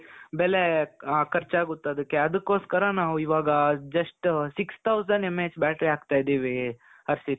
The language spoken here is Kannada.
ಬೆಲೆ ಖರ್ಚಾಗುತ್ತೆ ಅದಕ್ಕೆ ಅದಕ್ಕೋಸ್ಕರ ನಾವು ಇವಾಗ just six thousand MAH battery ಹಾಕ್ತಾ ಇದ್ದೀವಿ ಹರ್ಷಿತ್ .